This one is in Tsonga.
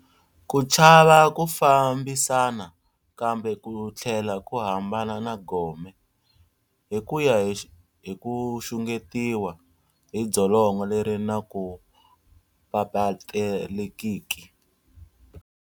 Ku chava ku fambisana kambe ku thlela ku hambana na Gome, hi kuya hi ku xungetiwa hi dzolonga leri naku papaletekiki.